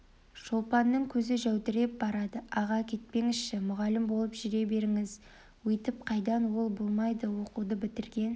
шолпанның көзі жәудіреп барады аға кетпеңізші мұғалім болып жүре беріңіз өйтіп қайдан ол болмайды оқуды бітірген